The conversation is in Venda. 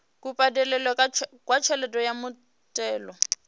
kubadelele kwa tshelede ya muthelo